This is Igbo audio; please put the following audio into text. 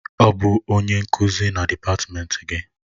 Ọ bụ onye nkuzi na dịpatmenti gị?